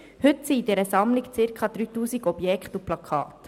Heute befinden sich in dieser Sammlung circa 3000 Objekte und Plakate.